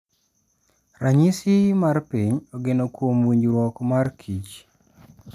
Ranyisi mar piny ogeno kuom winjruok mar kich.